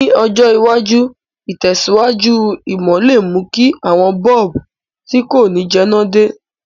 Ní ọjọ̀ iwájú, ìtẹ̀síwájú ìmò le mú ki àwon bulb ti ko ni jẹná de